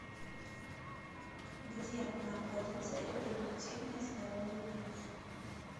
где находится репродуктивное здоровье плюс